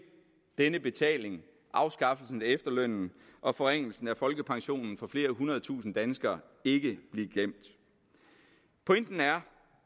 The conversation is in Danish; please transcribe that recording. denne betaling afskaffelsen af efterlønnen og forringelsen af folkepensionen for flere hundrede tusinde danskere ikke blive glemt pointen